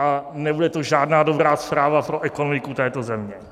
A nebude to žádná dobrá zpráva pro ekonomiku této země.